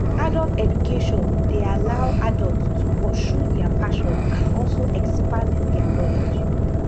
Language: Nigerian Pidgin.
adult education de allow adult to pursue their passion and also expand their knowledge